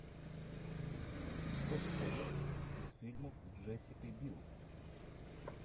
что посоветуешь из фильмов с джессикой бил